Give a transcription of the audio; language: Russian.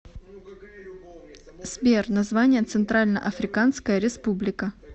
сбер название центральноафриканская республика